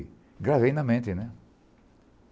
E gravei na mente, né?